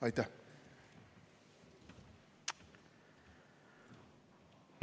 Aitäh!